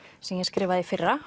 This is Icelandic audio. sem ég skrifaði í fyrra